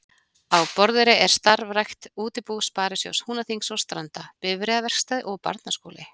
Á Borðeyri er starfrækt útibú Sparisjóðs Húnaþings og Stranda, bifreiðaverkstæði og barnaskóli.